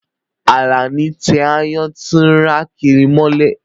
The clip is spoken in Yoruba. Alani tẹ àayan ti ǹra kiri molẹ